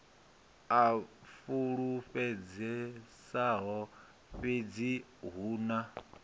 a fulufhedzisaho fhedzi hu na